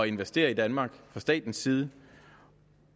investere i danmark fra statens side